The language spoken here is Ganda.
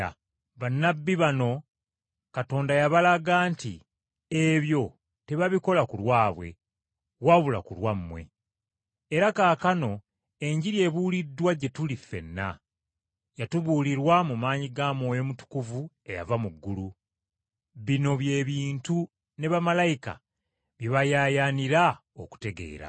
Bannabbi bano Katonda yabalaga nti ebyo tebabikola ku lwabwe, wabula ku lwammwe. Era kaakano Enjiri ebuuliddwa gye tuli ffenna. Yatubuulirwa mu maanyi ga Mwoyo Mutukuvu eyava mu ggulu. Bino by’ebintu ne bamalayika bye bayaayaanira okutegeera.